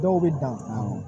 Dɔw bɛ dan